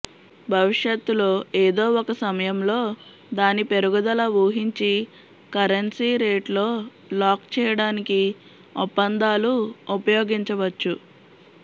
భవిష్యత్తులో ఏదో ఒక సమయంలో దాని పెరుగుదల ఊహించి కరెన్సీ రేటులో లాక్ చేయడానికి ఒప్పందాలు ఉపయోగించవచ్చు